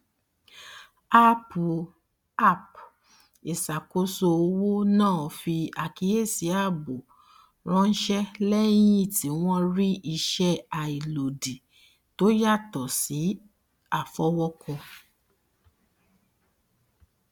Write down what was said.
áàpù app ìṣàkóso owó náà fi àkíyèsí ààbò ránṣẹ lẹyìn tí wọn rí ìṣe àìlòdì tó yàtọ sí àfọwọkọ